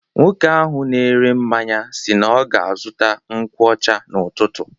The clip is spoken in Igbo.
Nwoke ahụ na-ere mmanya si na ọ ga-azụta nkwu ọcha n'ụtụtụ.